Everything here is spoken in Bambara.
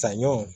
Saɲɔ